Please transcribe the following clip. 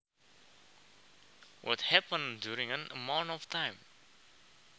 What happens during an amount of time